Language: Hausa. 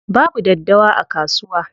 Babu daddawa a kasuwa.